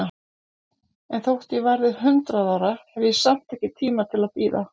En þótt ég verði hundrað ára, hef ég samt ekki tíma til að bíða.